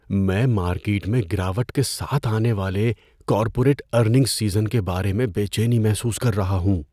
میں مارکیٹ میں گراوٹ کے ساتھ آنے والے کارپوریٹ ارننگز سیزن کے بارے میں بے چینی محسوس کر رہا ہوں۔